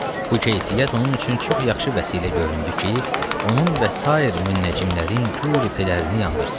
Bu keyfiyyət onun üçün çox yaxşı vəsilə göründü ki, onun və sair müəccimlərin güruhi pirlərini yandırsın.